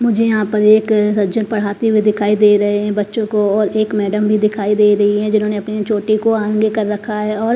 मुझे यहां पर एक सज्जन पढ़ाते हुए दिखाइ दे रहे हैं बच्चों को और एक मैडम भी दिखाई दे री हैं जिमने अपनी चोटी को आंगे कर रखा है और--